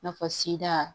I n'a fɔ sida